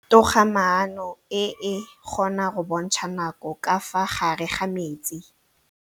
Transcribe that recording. Toga-maanô e, e kgona go bontsha nakô ka fa gare ga metsi.